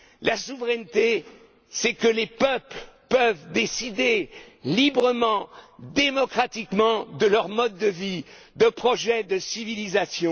La souveraineté, c'est lorsque les peuples peuvent décider librement, démocratiquement de leur mode de vie, de projets de civilisation.